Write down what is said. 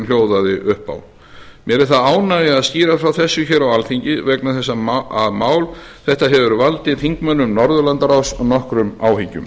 hljóðaði upp á mér er það ánægja að skýra frá þessu hér á alþingi vegna þess að mál þetta hefur valdið þingmönnum norðurlandaráðs nokkrum áhyggjum